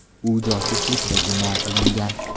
U josuslikda gumon qilingan.